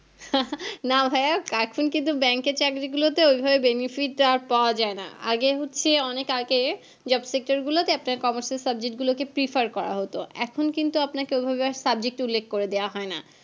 না ভাইয়া এখন কিন্তু bank এর চাকরী গুলোতে ওই ভাবে benefit আর পাওয়া যায় না আগে হচ্ছে অনেক আগে job sector গুলোতে আপনার commerce এর subject গুলো কে prefer করা হতো এখন কিন্তু আপনাকে ঐভাবে আর subject উল্লেখ করে দেওয়া হয় না